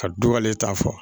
Ka du wale ta fɔ